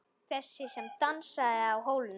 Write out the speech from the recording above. Þessi sem dansaði á hólnum.